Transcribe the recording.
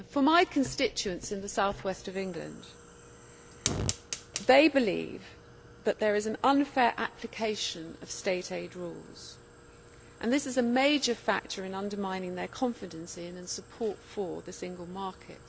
My constituents in the South West of England believe that there is an unfair application of State aid rules and this is a major factor in undermining their confidence in, and support for, the single market.